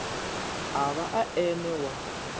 a vha e ene wa